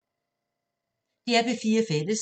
DR P4 Fælles